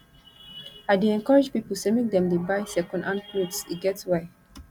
i dey encourage pipo sey make dem dey buy second hand clothes e get why